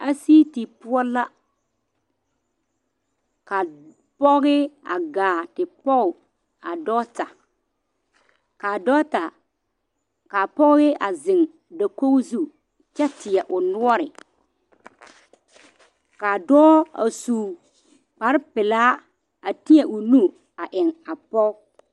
Aseeti poɔ la ka pɔge a gaa te poɔ a dɔɔta kaa ɖɔɔta a zeŋ dakogi zu kyɛ teɛ o noɔre ka dɔɔ a su kpare pelaa a teɛ o nu a eŋ a pɔge.